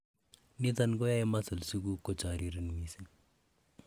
niton koyoe muscles iguk kochoriren missing